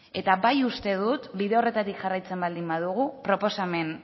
eta bai uste dut bide horretatik jarraitzen baldin badugu proposamen